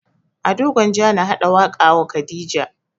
Ado gwanja na haɗa waƙa wa khadija